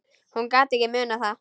Hún gat ekki munað það.